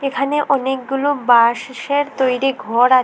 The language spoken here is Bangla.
এখানে অনেকগুলো বাঁশের তৈরি ঘর আ--